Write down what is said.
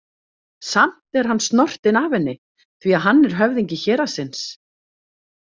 Samt er hann snortinn af henni því að hann er höfðingi héraðsins.